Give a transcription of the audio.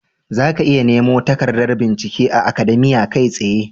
Zaka iya nemo takardar bincike a Akademiya kai tsaye.